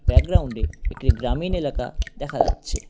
Background -এ একটি গ্রামীন এলাকা দেখা যাচ্ছে।